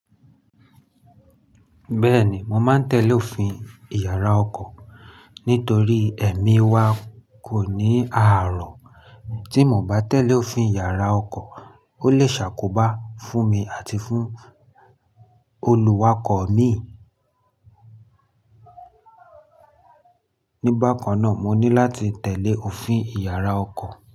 Bẹ́ẹ̀ni, mo máa ń tẹ́lẹ̀ òfin Ìyàrá ọkọ̀ nítorí ẹ̀mí wa kò ní ààrọ̀. Tí mo bá tẹ̀lé òfin Ìyàrá ọkọ̀, ó lè ṣàkóbá fún mi àti fún olùwakọ̀ mi. Nígbà kan náà, mo ní láti tẹ̀lé òfin Ìyàrá ọkọ̀.